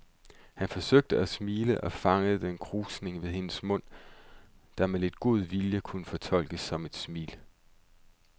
Han forsøgte at smile og fangede en krusning ved hendes mund, der med lidt god vilje kunne fortolkes som et smil.